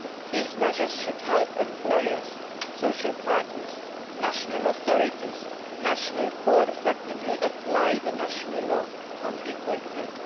These measures should help employers, social partners, national authorities and national courts to more effectively apply national law on equal pay.